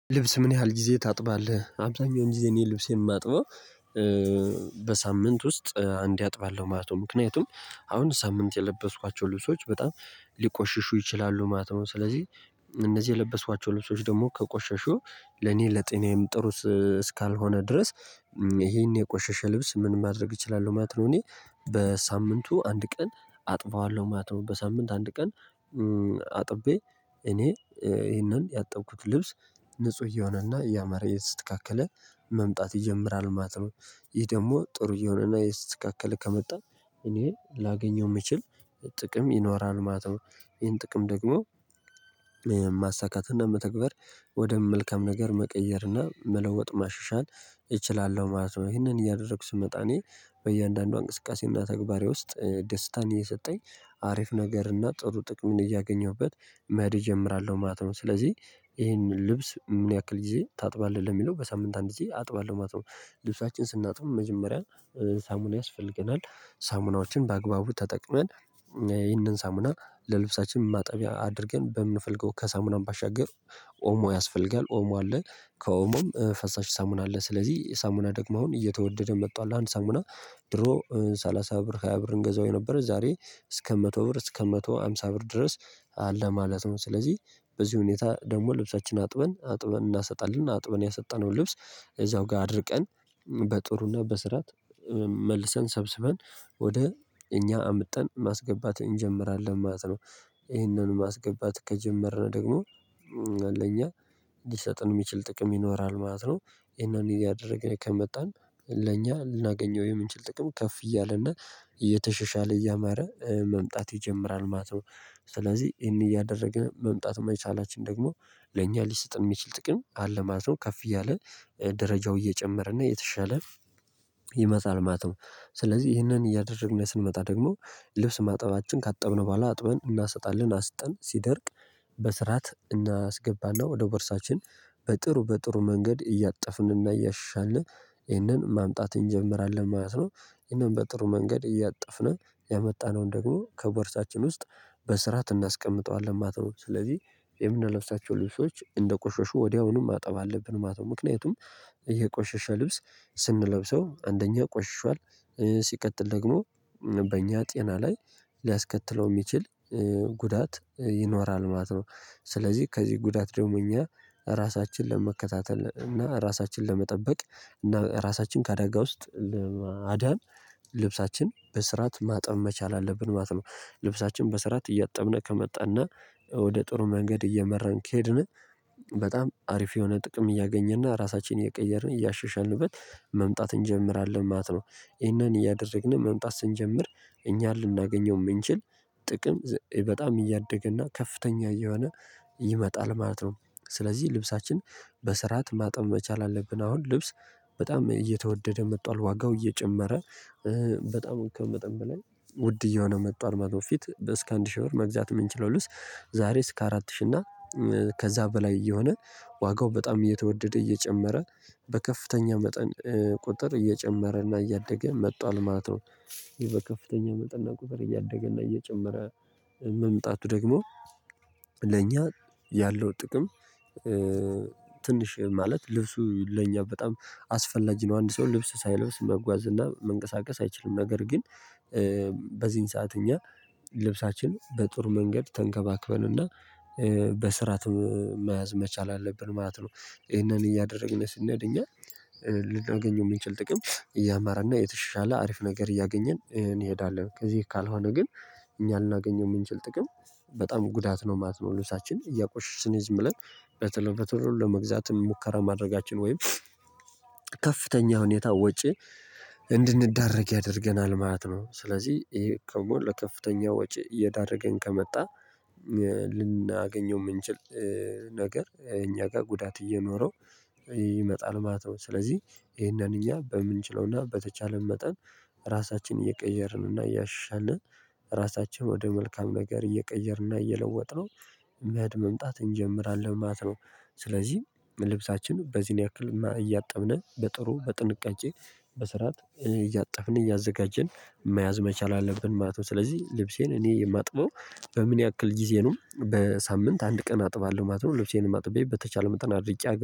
ልብስ ምን ያህል ጊዜ ታጥባለህ? አብዛኛውን ጊዜ እኔ ልብሴን የማጥበው በሳምንት ውስጥ አንዴ አጥባለሁ ማለት ነው። ምክንያቱም አሁን ሳምንት የለበስኳቸው ልብሶች በጣም ሊቆሽሹ ይችላሉ ማለት ነው። ስለዚህ እነዚህ የለበሷቸው ልብሶች ደግሞ ከቆሸሹ ለኔ ለጤናዬም ጥሩ እስካልሆነ ድረስ ይሄን የቆሸሸ ልብስ ምን ማድረግ እችላለሁ ማለት ነው እኔ፣ በሳምንቱ አንድ ቀን አጥፋዋለሁ ማለት ነው። በሳምንት አንድ ቀን አጥቤ እኔ ይሄንን ያጠብኩት ልብስ ንጹህ እየሆነና እያመረ የት ስትካከለ መምጣት ይጀምራል ማለት ነው። ይህ ደግሞ ጥሩ እየሆነና የት ስትካከለ ከመጣ እኔ ላገኘው የምችል ጥቅም ይኖራል ማለት ነው። ይሄን ጥቅም ደግሞ ማሳካት እና መተግበር ወደ መልከም ነገር፣ መቀየር እና መለወጥ ማሸሻን እችላለሁ ማለት ነው። ይሄንን እያደረኩ ስመጣ እኔ በእያንዳንዷ እንቅስቃሴና ተግባሬ ውስጥ ደስታን እየሰጠኝ አሪፍ ነገርና ጥሩ ጥቅም እያገኘሁበት መድ እጀምራለሁ ማለት ነው። ስለዚህ ይሄንን ልብስ የምንያክል ጊዜ ታጥባለህ ለሚለው በሳምንት አንድ ጊዜ አጥባለሁ ማለት ነው። ልብሳችን ስናጥብም መጀመሪያ ሳሙና ያስፈልገናል፣ ሳሙናዎችን በአግባቡ ተጠቅመን ይህንን ሰሙና ለልብሳችን ማጠቢያ አድርገን በምንፈልገው ከሰሙናም ባሻገር ኦሞ፣ ያስፈልጋል ኦሞ አለ ከኦሞም ፈሳሽ ሳሙና፣ አለ ስለዚህ ሳሙና ደግሞ አሁን እየተወደደ መጣሁ አንድ ሳምና ድሮ ሰላሳ ብር፣ ሃያ ብር እንገዛው የነበረ ዛሬ እስከ መቶ ብር፣ እስከ አንድ መቶ አምሳ ብር ድረስ አለ ማለት ነው። ስለዚህ በዚህ ሁኔታ ደግሞ ልብሳችንን አጥበን አጥበን እናሰጣለን አጥበን ያሰጠነውን ልብስ እዛው ጋር አድርቀን በጥሩና በስራት መልሰን ሰብስበን ወደ እኛ አምጠን ማስገባት እንጀምራለን ማለት ነው። ይሄንን ማስገባት ከጀመርነው ደግሞ ለኛ ሊሰጥን የሚችል ጥቅም ይኖራል ማለት ነው። ይሄንን ያደረገኝ ከመጣን ለኛ ልናገኘው የምንችል ጥቅም ከፍ እያለ እና እየተሸሻለ እያመረ መምጣት ይጀምራል ማተው። ስለዚህ እኔ እያደረገ መምጣት መቻላችን ደግሞ ለእኛ ሊሰጥን የሚችል ጥቅም አለ ማለት ነው። ከፍ እያለ ደረጃው እየጨመረ እና የተሻለ ይመጣል ማለት ነው። ስለዚህ ይህንን እያደረግን ስንመጣ ደግሞ ልብስ ማጠባችን ካጠብነው በኋላ፣ አጥበን እናሰጣለን፣ አስጠን ሲደርቅ በስርዓት እናስገባና ወደ ወርሳችን በጥሩ በጥሩ መንገድ እያጠፍንና እያሻሻልን ይህንን ማምጣት እንጀምራለን ማለት ነው። ይህንን በጥሩ መንገድ እያጠፍነው፣ ያመጣነውን ደግሞ ከበርሳችን ውስጥ ትናስቀምጠዋለን ማለት ነው ስለዚህ የምንለብሳቸው ልብሶች እንደ ቆሾሹ ወዲያውኑም ማጠብ አለብን ማለት ነው። ምክንያቱም እየቆሸሸ ልብስ ስንለብሰው አንደኛ ቆሽሿል ሲቀጥል ደግሞ በእኛ ጤና ላይ ሊያስከትለው የሚችል ጉዳት ይኖራል ማለት ነው። ስለዚህ ከዚህ ጉዳት ደግሞ እኛ ራሳችንን ለመከታተል እና ራሳችንን ለመጠበቅ እና ራሳችን ከአደጋ ውስጥ ለማዳን ልብሳችን በስራት ማጠብ መቻል አለብን ማለት ነው። ልብሳችን በስራት እያጠብነህ ከመጣንና ወደ ጥሩ መንገድ እየመራን ከሄድን በጣም አሪፍ የሆነ ጥቅም እያገኘንና ራሳችንን እየቀየርን እያሸሸንንበት መምጣት እንጀምራለን ማለት ነው። ይህንን እያደረግን መምጣት ስንጀምር እኛን ልናገኘው የምንችል ጥቅም በጣም እያደገ እና ከፍተኛ እየሆነ ይመጣል ማለት ነው። ስለዚህ ልብሳችን በስርዓት ማጠን መቻል አለብን አሁን ልብስ በጣም እየተወደደ መጥቷል ዋጋው እየጨመረ፣ በጣም ከመጠን በላይ ውድ እየሆነ መጥቷል ማለት ነው። ፊት እስከ አንድ ሺህ ብር መግዛት የምንችለው ልውስ ዛሬ እስከ አራት ሺህ እና ከዛ በላይ እየሆነ ዋጋው በጣም እየተወደደ እየጨመረ በከፍተኛ መጠን ቁጥር እየጨመረና እያደገ መጣል ማለት ነው። ይሄ በከፍተኛ መጠንና ቁጥር እያደገ እና እየጨመረ መምጣቱ ደግሞ ለእኛ ያለው ጥቅም ትንሽ ማለ፣ ልብሱ ለእኛ በጣም አስፈላጊ ነው። አንድ ሰው ልብሱ ሳይለብስ መጓዝ እና መንቀሳቀስ አይችልም። ነገር ግን፣ በዚህን ሰዓት እኛ ልብሳችን በጥሩ መንገድ ተንከባክበንና በስርዓት መያዝ መቻል አለብን ማለት ነው። ይሄንን እያደረግን ስንሀድ እኛ ልላገኘው የምንችል ጥቅም እያማራና የተሻለ አሪፍ ነገር እያገኘን እንሄዳለን፣ ከዚህ ካልሆነ ግን እኛ አላገኘሁም የምንችል ጥቅም በጣም ጉዳት ነው ማለት ነው። ልብሳችን እያቆሸሽን ዝም ብለን በተሎ በተሎ ለመግዛትም ሙከራ ማድረጋችን ወይም ከፍተኛ ሁኔታ ወጪ እንድንዳረግ ያደርገናል ማለት ነው። ስለዚህ ይሄ ከሞል ለከፍተኛ ወጪ እየዳረገኝ ከመጣ ልናገኘው የምንችል፣ ነገር እኛ ጋር ጉዳት እየኖረው ይመጣል ማለት ነው። ስለዚህ ይሄንን እኛ በምንችለውና በተቻለን መጠን ራሳችንን እየቀየርንና እያሻሻልን ራሳቸውን ወደ መልካም ነገር እየቀየርን እና እየለወጥነው መድ መምጣት እንጀምራለን ማለት ነው። ስለዚህ ልብሳችን በዚህን ያክል እያጠብን በጥሩ በጥንቃቄ በስርዓት እያጠፍን እያዘጋጀን መያዝ መቻል አለብን ማለት ነው። ስለዚህ ልብሴን እኔ የማጥበው በምን ያክል ጊዜኑም? በሳምንት አንድ ቀን አጥባለሁ ማለት ነው። ልብሴን የማጥበው በተቻለ መጠን አድርጌ